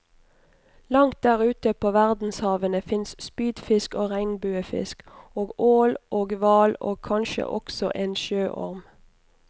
Langt der ute på verdenshavene fins spydfisk og regnbuefisk og ål og hval og kanskje også en sjøorm.